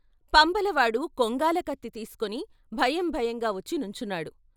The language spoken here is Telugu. పంబలవాడు కొంగాలకత్తి తీసుకుని భయం భయంగా వచ్చి నుంచున్నాడు.